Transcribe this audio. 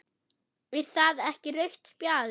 Er það ekki rautt spjald?